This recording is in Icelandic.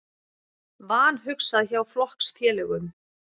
Vanhugsað hjá flokksfélögum